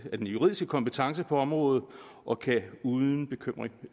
den juridiske kompetence på området og kan uden bekymring